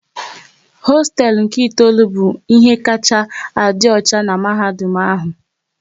Hosteelu nke itoolu bụ ihe kacha a dị ọcha n'mahadum ahụ